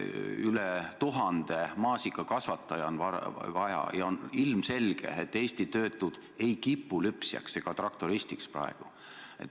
Üle 1000 maasikakorjaja on vaja ja on ilmselge, et Eesti töötud ei kipu praegu ka lüpsjaks ega traktoristiks.